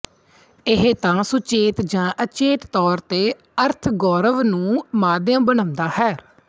ਇਹ ਤਾਂ ਸੁਚੇਤ ਜਾਂ ਅਚੇਤ ਤੌਰ ਤੇ ਅਰਥਗੋਰਵ ਨੂੰ ਮਾਧਿਅਮ ਬਣਾਉਦਾ ਹੈ